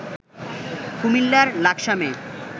কুমিল্লার লাকসামে